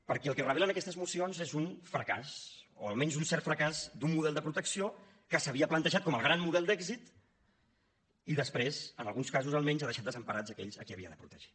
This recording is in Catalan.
perquè el que revelen aquestes mocions és un fracàs o almenys un cert fracàs d’un model de protecció que s’havia plantejat com el gran model d’èxit i després en alguns casos almenys ha deixat desemparats aquells a qui havia de protegir